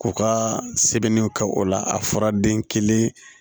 K'u ka sɛbɛnniw kɛ o la a fɔra den kelen